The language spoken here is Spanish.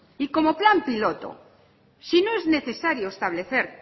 y como plan piloto si no es necesario establecer